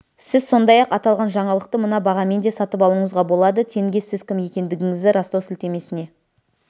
сіз сондай-ақ аталған жаңалықты мына бағамен де сатып алуыңызға болады тенге сіз кім екендігіңізді растау сілтемесіне